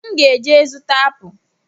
M ga eje azụta apụ